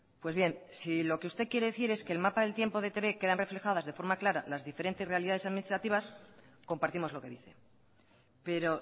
pues bien si lo que usted quiere decir es que el mapa del tiempo de etb quedan reflejadas de forma clara las diferentes realidades administrativas compartimos lo que dice pero